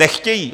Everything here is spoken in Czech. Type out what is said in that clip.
Nechtějí.